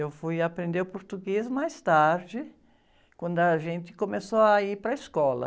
Eu fui aprender o português mais tarde, quando a gente começou a ir para a escola.